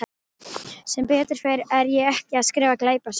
Sem betur fer er ég ekki að skrifa glæpasögu.